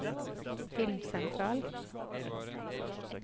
filmsentral